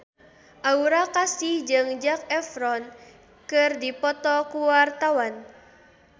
Aura Kasih jeung Zac Efron keur dipoto ku wartawan